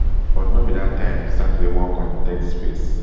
but no be dat time e start to dey work on di tech space